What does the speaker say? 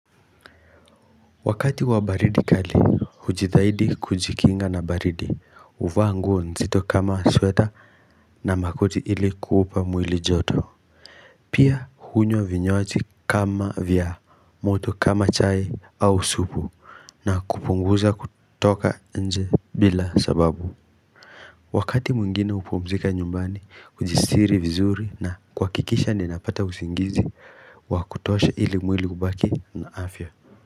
Wakati wa baridi kali, ujitaidi kujikinga na baridi, uvaa nguo nzito kama sweta na makoti ili kuupa mwili joto. Pia hunywa vinywaji kama vya, moto kama chai au supu, na kupunguza kutoka nje bila sababu. Wakati mungine upumzika nyumbani, ujistiri vizuri na kwa kikisha ninapata usingizi wa kutosha ili mwili kubaki na afya.